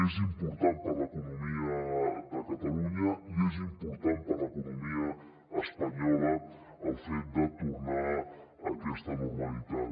és important per a l’economia de catalunya i és important per a l’economia espanyola el fet de tornar a aquesta normalitat